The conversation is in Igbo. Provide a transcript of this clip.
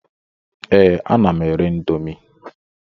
Ee, ana m ere índomi